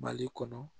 Mali kɔnɔ